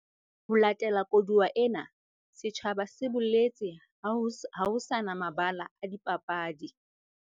Ho latela koduwa ena, setjhaba se boletse ha ho se na mabala a dipapadi